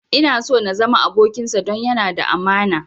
Ina so na zama abokinsa don yana da amana